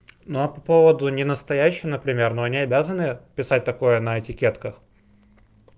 ну а поводу ненастоящий например но они обязаны писать такое на этикетках